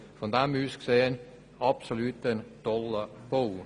Es handelt sich um einen absolut tollen Bau.